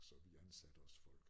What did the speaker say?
Så vi ansatte også folk